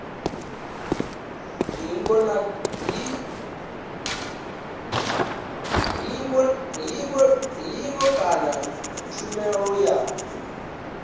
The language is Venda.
hingo na kha tshumelo ya